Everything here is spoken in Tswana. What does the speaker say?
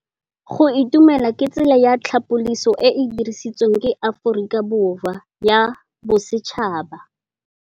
Go itumela ke tsela ya tlhapolisô e e dirisitsweng ke Aforika Borwa ya Bosetšhaba.